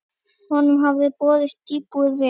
Honum hafði boðist íbúð við